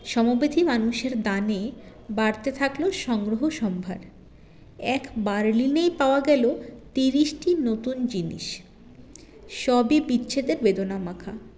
সমব্যথী মানুষের দানে বাড়তে থাকলো সংগ্রহ সম্ভার এক বার্লিনেই পাওয়া গেল তিরিশটি নতুন জিনিস সবই বিচ্ছেদের বেদনামাখা